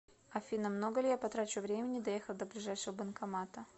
афина много ли я потрачу времени доехав до ближайшего банкомата